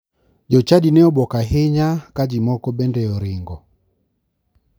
Jochadi ne obwuok ahinya ka ji moko bende oringo.